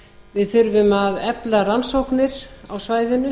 við þurfum að efla rannsóknir á svæðinu